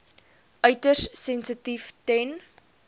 uiters sensitief ten